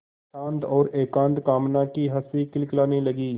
शांत और एकांत कामना की हँसी खिलखिलाने लगी